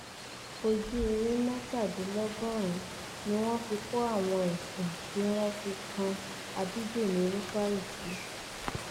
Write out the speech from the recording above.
ojúewé mẹtàdínlọgọrùnún ni wọn fi kó àwọn ẹsùn tí wọn fi kan ábídẹmi rúfáì sí